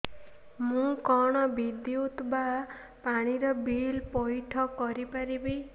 ମୁ କଣ ବିଦ୍ୟୁତ ବା ପାଣି ର ବିଲ ପଇଠ କରି ପାରିବି